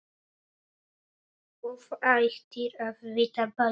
Þú ættir að vita betur!